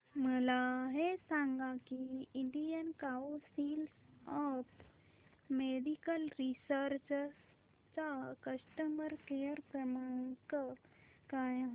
मला हे सांग की Indian council of medical research चा कस्टमर केअर क्रमांक काय आहे